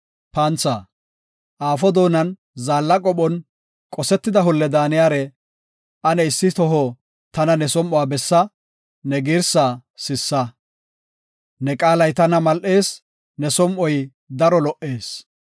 Aafo doonan zaalla qophon, qosetida holle daaniyare; ane issi toho tana ne som7uwa bessa; ne girsa sissa. Ne qaalay tana mal7ees; ne som7oy daro lo77ees.